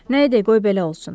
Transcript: Nə edək qoy belə olsun.